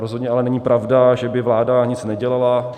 Rozhodně ale není pravda, že by vláda nic nedělala.